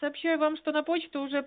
сообщаю вам что на почту уже